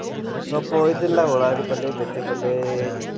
ಸೊಪ್ಪ್ ವಾಯ್ತಿನ್ಲಾ ಉಳ್ಳಾಗಡ್ಡಿ ಪಲ್ಲೆ, ಮೆಂತೆ ಪಲ್ಲೆ,